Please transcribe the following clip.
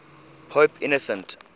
pope innocent